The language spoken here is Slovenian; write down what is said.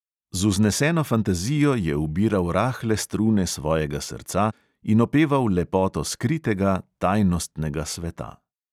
Z vzneseno fantazijo je ubiral rahle strune svojega srca in opeval lepoto skritega, tajnostnega sveta.